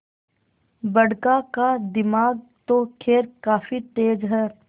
बड़का का दिमाग तो खैर काफी तेज है